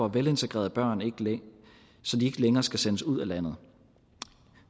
velintegrerede børn ikke længere skal sendes ud af landet